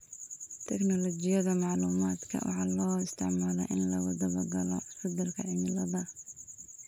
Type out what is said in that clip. Tignoolajiyada macluumaadka waxaa loo isticmaalaa in lagu daba-galo isbedelka cimilada.